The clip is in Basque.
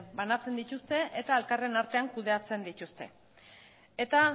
banatzen dituzte eta elkarren artean kudeatzen dituzte eta